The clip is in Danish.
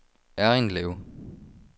Errindlev